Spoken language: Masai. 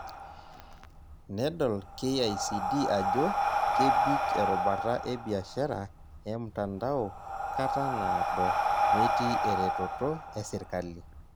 Nedol KICD ajo kebik erubata ebiashara emtandao kata naado metii eretoto esirkali.